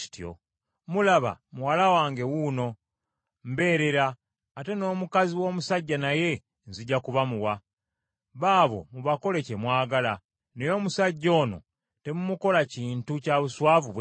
Mulaba muwala wange wuuno, mbeerera, ate n’omukazi w’omusajja naye nzija kubamuwa. Baabo mubakole kye mwagala. Naye omusajja ono temumukola kintu kya buswavu bwe kityo.”